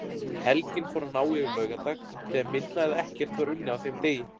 Helgin fór að ná yfir laugardag þegar minna eða ekkert var unnið á þeim degi.